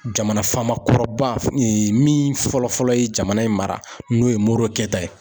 Jamana faama kɔrɔba min fɔlɔ fɔlɔ ye jamana in mara n'o ye MORO KETA ta ye.